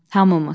Hamımız.